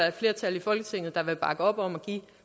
et flertal i folketinget der vil bakke op om at give